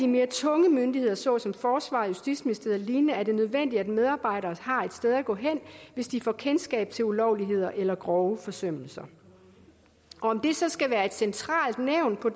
mere tunge myndigheder såsom forsvaret justitsministeriet og lignende er det nødvendigt at medarbejdere har et sted at gå hen hvis de får kendskab til ulovligheder eller grove forsømmelser om det så skal være et centralt nævn på